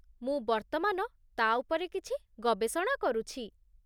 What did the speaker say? ମୁଁ ବର୍ତ୍ତମାନ ତା' ଉପରେ କିଛି ଗବେଷଣା କରୁଛି